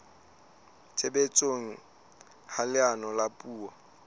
tshebetsong ha leano la puo